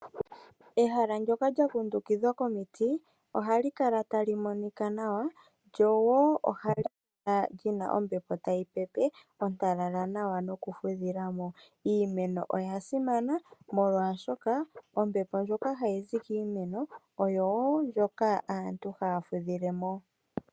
Ehala ndyoka lyakundukidhwa komiti ohali kala tali monika nawa lyo woo ohali kala li na ombepo tayi pepe ya talala nawa nokufudhilamo. Iimeno oya simana, molwaashoka ombepo ndjoka hayi zi kiimeno oyo woo ndjoka aantu haya fudhile mo.